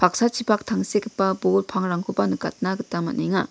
tangsekgipa bol pangrangkoba nikatna gita man·enga.